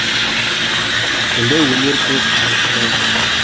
мұндай өнер көп аңшыда жоқ